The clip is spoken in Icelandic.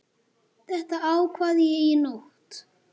Þetta ákvað ég í nótt.